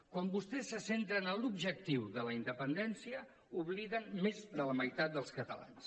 quan vostès se centren en l’objectiu de la independència obliden més de la meitat dels catalans